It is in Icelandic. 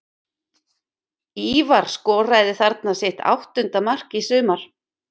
Ívar skoraði þarna sitt áttunda mark í sumar.